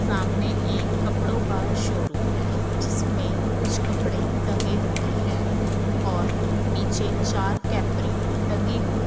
सामने एक कपड़ों का शोरूम है जिसमें कुछ कपड़े टंगे हुए है और नीचे चार कैपरी टंगी हुई--